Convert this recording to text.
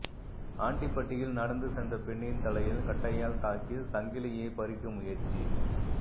ஆண்டிபட்டியில் நடந்துசென்ற பெண்ணின் தலையில் கட்டையால் தாக்கி சங்கிலியை பறிக்க முயற்சி